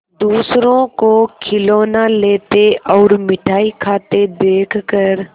दूसरों को खिलौना लेते और मिठाई खाते देखकर